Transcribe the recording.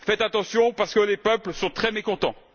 Faites attention parce que les peuples sont très mécontents.